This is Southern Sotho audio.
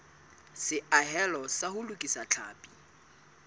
seahelo sa ho lokisa tlhapi